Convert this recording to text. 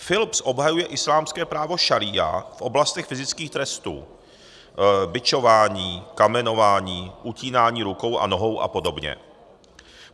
Philips obhajuje islámské právo šaría v oblastech fyzických trestů: bičování, kamenování, utínání rukou a nohou a podobně.